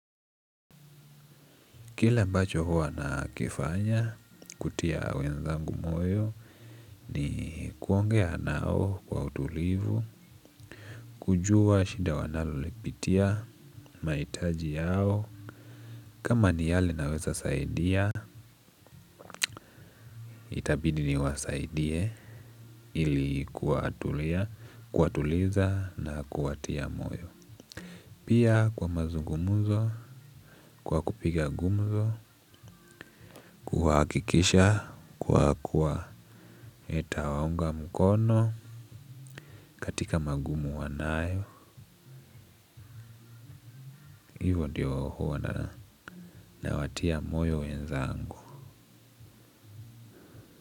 Kile ambacho huwa nakifanya, kutia wenzangu moyo ni kuongea nao kwa utulivu, kujua shida wanalolipitia, mahitaji yao, kama ni yale naweza saidia, itabidi niwasaidie ili kuwatuliza na kuwatia moyo. Pia kwa mazungumzo, kwa kupiga gumzo, kuhakikisha, kwa kuwa nitawaunga mkono katika magumu wanayo, hivyo ndio huwa nawatia moyo wenzangu.